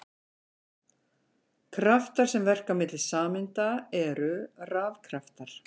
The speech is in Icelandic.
Kraftar sem verka milli sameinda eru rafkraftar.